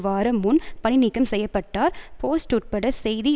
வாரம் முன் பணிநீக்கம் செய்ய பட்டார் போஸ்ட் உட்பட செய்தி